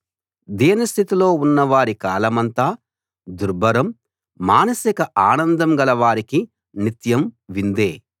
దీనస్థితిలో ఉన్నవారి కాలమంతా దుర్భరం మానసిక ఆనందం గల వారికి నిత్యం విందే